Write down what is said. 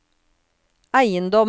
eiendommer